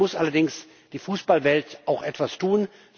Dann muss allerdings die Fußballwelt auch etwas tun.